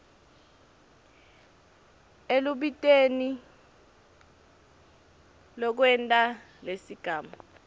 elubitweni lwekwenta lesigamu